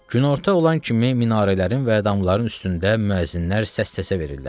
Günorta olan kimi minarələrin və damların üstündə müəzzinlər səs-səsə verirlər.